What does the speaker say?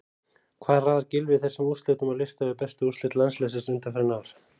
Hvar raðar Gylfi þessum úrslitum á lista yfir bestu úrslit landsliðsins undanfarin ár?